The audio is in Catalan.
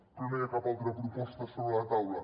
però no hi ha cap altra proposta sobre la taula